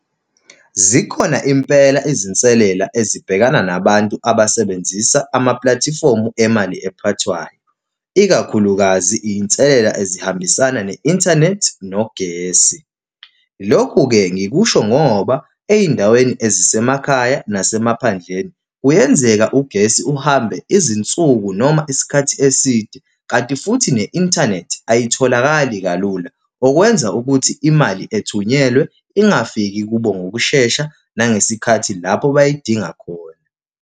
Zikhona impela izinselela ezibhekana nabantu abasebenzisa amapulatifomu emali ephathwayo, ikakhulukazi iy'nselela ezihambisana ne-inthanethi nogesi. Lokhu-ke, ngikusho ngoba ey'ndaweni ezisemakhaya nasemaphandleni kuyenzeka ugesi uhambe izinsuku noma isikhathi eside, kanti futhi ne-inthanethi ayitholakali kalula, okwenza ukuthi imali ethunyelwe ingafiki kubo ngokushesha, nangesikhathi lapho bayidinga khona.